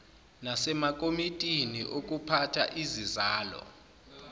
nasemakomitini okuphatha izizalo